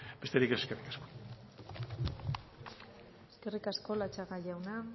besterik ez eskerrik asko eskerrik asko latxaga jauna